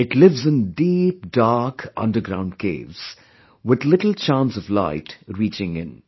It lives in deep, dark underground caves, with little chance of light reaching in